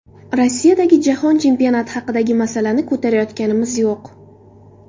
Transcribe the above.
Rossiyadagi jahon chempionati haqidagi masalani ko‘tarayotganimiz yo‘q.